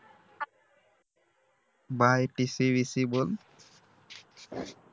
bye tc vc बोल